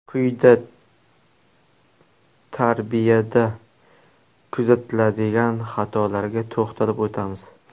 Quyida tarbiyada kuzatiladigan xatolarga to‘xtalib o‘tamiz.